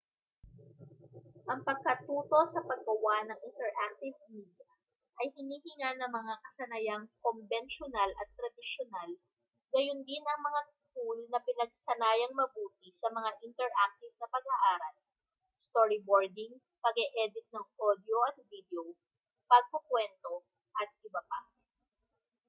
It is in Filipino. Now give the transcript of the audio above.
ang pagkatuto sa paggawa ng interactive media ay hinihingan ng mga kasanayang kombensyunal at tradisyunal gayundin ang mga tool na pinagsanayang mabuti sa mga interactive na pag-aaral storyboarding pag-e-edit ng audio at video pagkukuwento atbp.